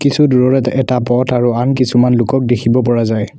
কিছু দুৰৰত এটা বত আৰু আন কিছুমান লোকক দেখিব পৰা যায়।